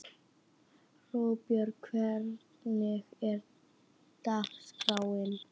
Róbjörg, hvernig er dagskráin?